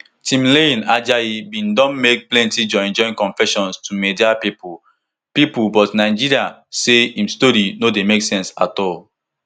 timileyin ajayi bin don make plenti joinjoin confessions to media pipo pipo but nigeria say im story no dey make sense at all